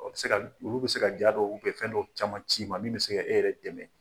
O bɛ se ka olu bɛ se ka ja dɔw ou bien fɛn dɔw caman ci ma min bɛ se k'e yɛrɛ dɛmɛ